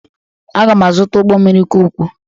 Aga m azụta ụgbọ mmiri ka ukwuu